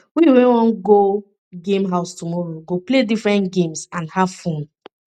we wan go game house tomorrow go play different games and have fun